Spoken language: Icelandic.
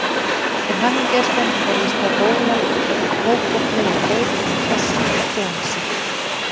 Til hamingju elskan heyrðist þá gólað og Kókó flaug á Gauk með kossum og flangsi.